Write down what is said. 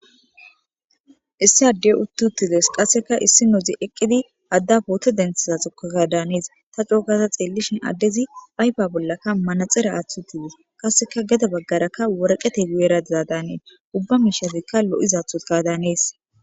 Issi adde uththi7uththi des; qassikka issinozi eqqidi adda pootho denthizakkodaanees; tha co7u gaada tseellishi addeesi ayfa bollakka manatsire aththidi qassikka gede bggaarakka woreqethey gu7eera daadaani ubba miishshazikka lo7izaaththoo gaadaanees.